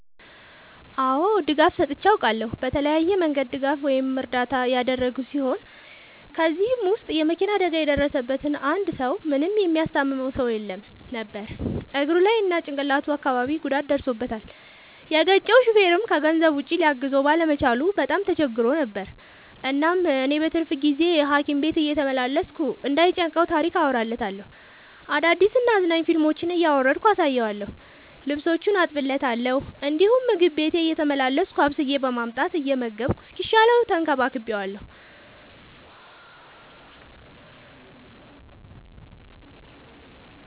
አዎ ድጋፍ ሰጥቼ አውቃለሁ። በተለያየ መንገድ ድጋፍ ወይም እርዳታ ያደረግሁ ሲሆን ከ እነዚህም ውስጥ የ መኪና አደጋ የደረሠበትን አንድ ሰው ምንም የሚያስታምመው ሰው የለውም ነበር እግሩ ላይ እና ጭቅላቱ አካባቢ ጉዳት ደርሶበታል። የገጨው ሹፌርም ከገንዘብ ውጪ ሊያግዘው ባለመቻሉ በጣም ተቸግሮ ነበር። እናም እኔ በትርፍ ጊዜዬ ሀኪም ቤት እየተመላለስኩ እንዳይ ጨንቀው ታሪክ አወራለታለሁ፤ አዳዲስ እና አዝናኝ ፊልሞችን እያወረድኩ አሳየዋለሁ። ልብሶቹን አጥብለታለሁ እንዲሁም ምግብ ቤቴ እየተመላለስኩ አብስዬ በማምጣት እየመገብኩ እስኪሻለው ተንከባክቤዋለሁ።